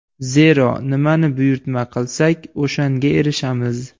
Zero, nimani buyurtma qilsak, o‘shanga erishamiz.